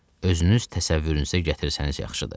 Özünüz təsəvvürünüzə gətirsəniz yaxşıdır.